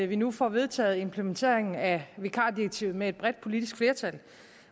vi nu får vedtaget implementeringen af vikardirektivet med et bredt politisk flertal